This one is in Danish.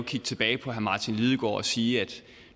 kigge tilbage på herre martin lidegaard og sige at